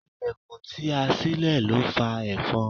Ìlẹ̀kùn tí ẹ sile ló fa efon.